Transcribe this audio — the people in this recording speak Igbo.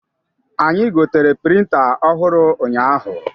Anyị gotere printa ọhụrụ ụnyaahụ.